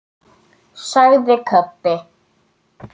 sagði Kobbi.